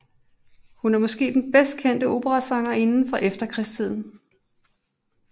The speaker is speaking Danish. Hun er måske den bedst kendte operasanger fra efterkrigstiden